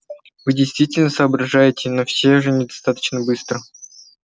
вы действительно соображаете но все же недостаточно быстро